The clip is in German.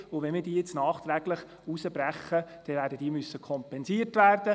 Wenn wir diese jetzt nachträglich herausbrechen, werden wir sie kompensieren müssen.